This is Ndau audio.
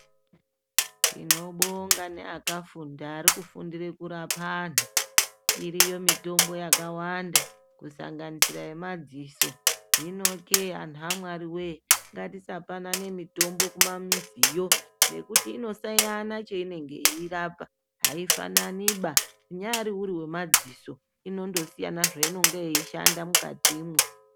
Tinobonga neakafunda ari kufundire kurapa antu. Iriyo mitombo yakawanda kusanganisira yemadziso. Hinokee antu aMwariwee ngatisapanane mitombo kumamiziyo ngekuti inosiyana cheinenge yeirapa, aifananiba inyaari iri yemadziso inondosiyana zveinoshanda mukatimwo.